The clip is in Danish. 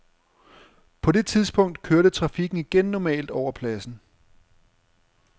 På det tidspunkt kørte trafikken igen normalt over pladsen.